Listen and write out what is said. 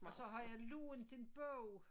Og så har jeg lånt en bog